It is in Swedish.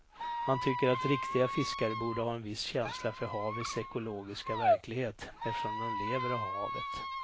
Man tycker att riktiga fiskare borde ha en viss känsla för havets ekologiska verklighet eftersom de lever av havet.